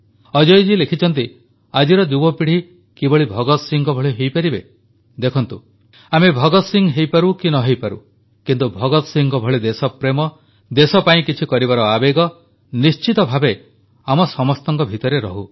ଅଜୟ ଜୀ ଲେଖିଛନ୍ତି ଆଜିର ଯୁବପିଢ଼ି କିଭଳି ଭଗତ ସିଂହଙ୍କ ଭଳି ହୋଇପାରିବେ ଦେଖନ୍ତୁ ଆମେ ଭଗତ ସିଂହ ହୋଇପାରୁ କି ନହୋଇପାରୁ କିନ୍ତୁ ଭଗତ ସିଂହଙ୍କ ଭଳି ଦେଶପ୍ରେମ ଦେଶ ପାଇଁ କିଛି କରିବାର ଆବେଗ ନିଶ୍ଚିତ ଭାବେ ଆମ ସମସ୍ତଙ୍କ ଭିତରେ ରହୁ